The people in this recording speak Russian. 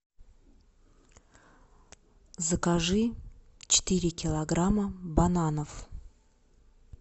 закажи четыре килограмма бананов